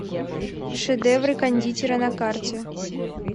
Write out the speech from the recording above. шедевры кондитера на карте